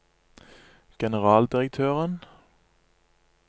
generaldirektøren